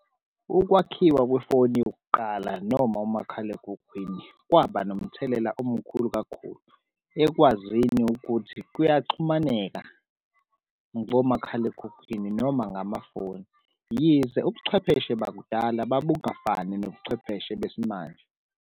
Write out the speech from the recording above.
Ukwakhiwa kwefoni yokuqala noma umakhalekhukhwini kwaba nomthelela omkhulu kakhulu ekwazini ukuthi kuyaxhumaneka ngomakhalekhukhwini noma ngamafoni, yize ubuchwepheshe bakudala babungafani nobuchwepheshe besimanje.